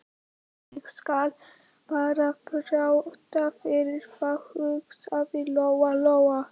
Ég skal bara þræta fyrir það, hugsaði Lóa Lóa.